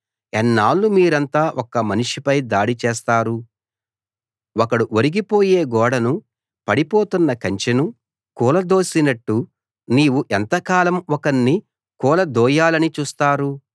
ఎన్నాళ్లు మీరంతా ఒక్క మనిషిపై దాడి చేస్తారు ఒకడు ఒరిగిపోయే గోడను పడిపోతున్న కంచెను కూలదోసినట్టు నీవు ఎంతకాలం ఒక్కణ్ణి కూలదోయాలని చూస్తారు